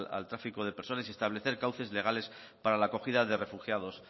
al tráfico de personas y establecer causes legales para la acogida de refugiados